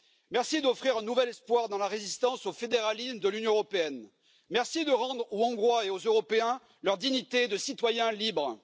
Merci d'offrir un nouvel espoir dans la résistance au fédéralisme de l'Union européenne, merci de rendre aux Hongrois et aux Européens leur dignité de citoyens libres.